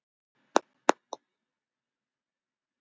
Kona hans var með í för.